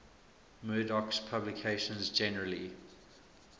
murdoch's publications generally